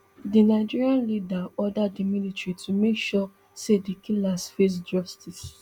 di nigerian leader order di military to make sure say di killers face justice